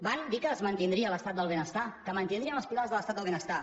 van dir que es mantindria l’estat del benestar que mantindrien els pilars de l’estat del benestar